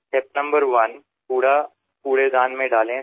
पहिला टप्पा म्हणजे आपण कचरा कचरापेटीत टाकावा